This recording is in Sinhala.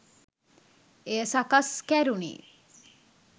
එය සකස් කැරුණේ